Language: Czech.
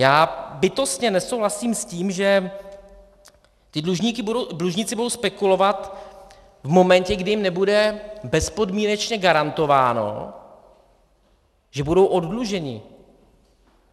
Já bytostně nesouhlasím s tím, že ti dlužníci budou spekulovat v momentu, kdy jim nebude bezpodmínečně garantováno, že budou oddluženi.